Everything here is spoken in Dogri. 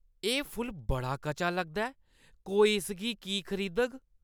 एह् फुल्ल बड़ा कचा लगदा ऐ। कोई इसगी की खरीदग?